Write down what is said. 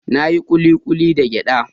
Na yi kulikulin da giɗa.